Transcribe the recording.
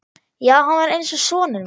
Já, hann var eins og sonur minn.